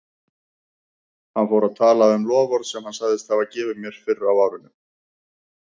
Hann fór að tala um loforð sem hann sagðist hafa gefið mér fyrr á árinu.